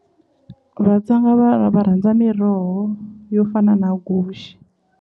Vatsonga va va va rhandza miroho yo fana na guxe.